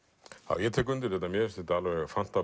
já ég tek undir þetta mér finnst þetta alveg